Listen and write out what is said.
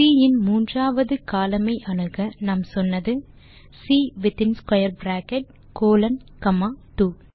C இன் மூன்றாவது column ஐ அணுக நாம் சொன்னது சி வித்தின் ஸ்க்வேர் பிராக்கெட் கோலோன் காமா 2